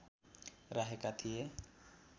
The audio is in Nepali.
राखेका थिए